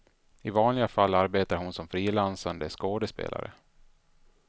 I vanliga fall arbetar hon som frilansande skådespelare.